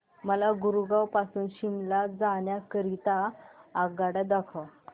मला गुरगाव पासून शिमला जाण्या करीता आगगाड्या दाखवा